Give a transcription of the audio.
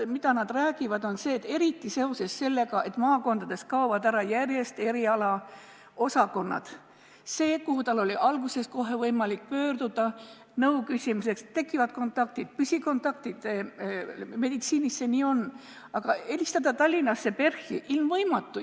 Perearstid ütlevad, et eriti seoses sellega, kui maakondades kaovad järjest ära erialaosakonnad, kuhu alguses oli võimalik pöörduda nõu küsimiseks ja tekkisid püsikontaktid, meditsiinis see nii on, ei saa nad enam eriarstiga kontakti, sest helistada Tallinnasse PERH-i on ilmvõimatu.